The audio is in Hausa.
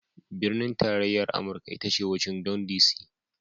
Binin tarayya amurka ita Washington DC